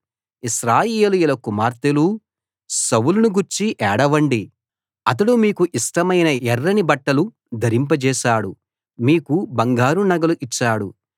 ఇశ్రాయేలీయుల కుమార్తెలూ సౌలును గూర్చి ఏడవండి అతడు మీకు ఇష్టమైన ఎర్రని బట్టలు ధరింప జేశాడు మీకు బంగారు నగలు ఇచ్చాడు